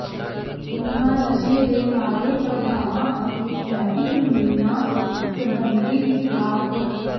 ਉਨ੍ਹਾਂ ਨਸ਼ੇ ਦੇ ਮਾੜੇ ਪ੍ਰਭਾਵਾਂ ਅਤੇ ਟਰੈਫਿਕ ਨਿਯਮਾਂ ਸਬੰਧੀ ਵਿਸਥਾਰ ਪ